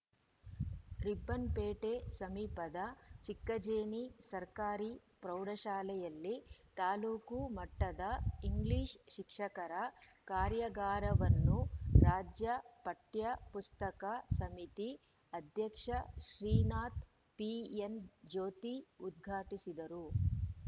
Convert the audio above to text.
ರಿಪ್ಪನ್‌ಪೇಟೆ ಸಮೀಪದ ಚಿಕ್ಕಜೇನಿ ಸರ್ಕಾರಿ ಪ್ರೌಢಶಾಲೆಯಲ್ಲಿ ತಾಲೂಕು ಮಟ್ಟದ ಇಂಗ್ಲಿಷ್‌ ಶಿಕ್ಷಕರ ಕಾರ್ಯಾಗಾರವನ್ನು ರಾಜ್ಯ ಪಠ್ಯ ಪುಸ್ತಕ ಸಮಿತಿ ಅಧ್ಯಕ್ಷ ಶ್ರೀನಾಥ್‌ ಪಿಎನ್‌ಜ್ಯೋತಿ ಉದ್ಘಾಟಿಸಿದರು